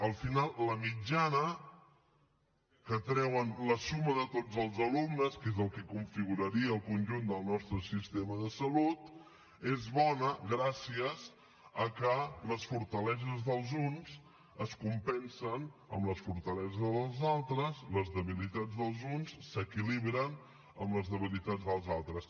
al final la mitjana que treuen la suma de tots els alumnes que és el que configuraria el conjunt del nostre sistema de salut és bona gràcies al fet que les fortaleses dels uns es compensen amb les fortaleses dels altres les debilitats dels uns s’equilibren amb les debilitats dels altres